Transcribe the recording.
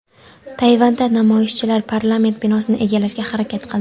Tayvanda namoyishchilar parlament binosini egallashga harakat qildi.